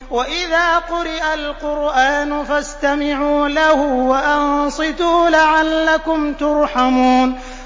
وَإِذَا قُرِئَ الْقُرْآنُ فَاسْتَمِعُوا لَهُ وَأَنصِتُوا لَعَلَّكُمْ تُرْحَمُونَ